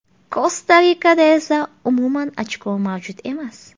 Kosta-Rikada esa umuman ochko mavjud emas.